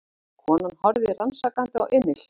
Konan horfði rannsakandi á Emil.